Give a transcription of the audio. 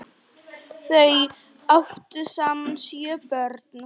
Þau áttu saman sjö börn.